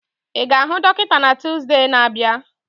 Ị ga-ahụ dọkịta na Tuusde na-abịa?